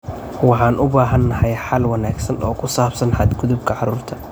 Waxaan u baahanahay xal wanaagsan oo ku saabsan xadgudubka carruurta.